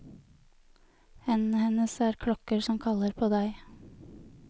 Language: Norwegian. Hendene hennes er klokker som kaller på deg.